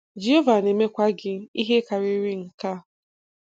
Jehova na-emekwa gị ihe karịrị nke a.